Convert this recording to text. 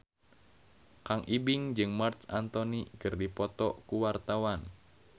Kang Ibing jeung Marc Anthony keur dipoto ku wartawan